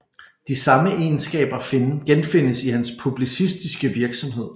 De samme Egenskaber genfindes i hans publicistiske Virksomhed